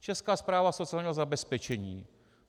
Česká správa sociálního zabezpečení!